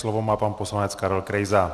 Slovo má pan poslanec Karel Krejza.